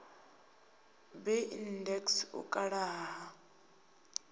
b index u kala ha